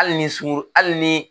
Hali ni suguru hali ni